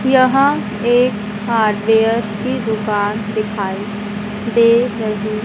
यह एक हार्डवेयर की दुकान दिखाई दे रही--